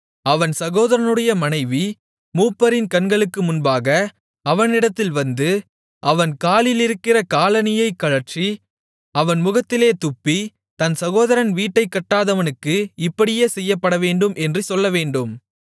அவன் சகோதரனுடைய மனைவி மூப்பரின் கண்களுக்கு முன்பாக அவனிடத்தில் வந்து அவன் காலிலிருக்கிற காலணியைக் கழற்றி அவன் முகத்திலே துப்பி தன் சகோதரன் வீட்டைக்கட்டாதவனுக்கு இப்படியே செய்யப்படவேண்டும் என்று சொல்லவேண்டும்